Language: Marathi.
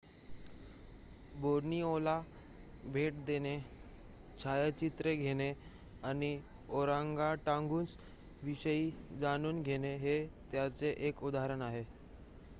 बोर्निओला भेट देणे छायाचित्रे घेणे आणि ओरांगटांगुंग्स विषयी जाणून घेणे हे त्याचे एक उदाहरण आहे